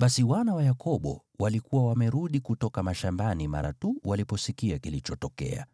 Basi wana wa Yakobo walikuwa wamerudi kutoka mashambani mara tu waliposikia kilichotokea.